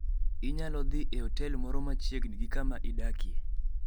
Inyalo dhi e otel moro machiegni gi kama idakie.